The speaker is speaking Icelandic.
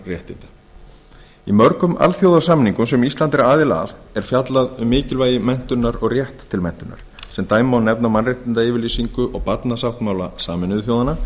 grundvallarréttinda í mörgum alþjóðasamningum sem ísland er aðili að er fjallað um mikilvægi menntunar og rétt til menntunar sem dæmi má nefna mannréttindayfirlýsingu og barnasáttmála sameinuðu þjóðanna